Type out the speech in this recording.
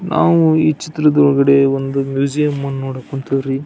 ನಾವು ಈ ಚಿತ್ರದೊಳಗಡೆ ಒಂದು ಮ್ಯೂಸಿಯಂ ಅನ್ನ ನೋಡಕ್ ಹೊಂಟಿವ್ರೀ .